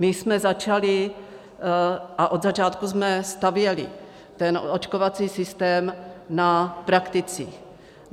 My jsme začali a od začátku jsme stavěli ten očkovací systém na prakticích.